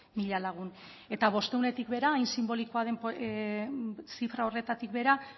mila lagun eta bostehunetik behera hain sinbolikoa den zifra horretatik behera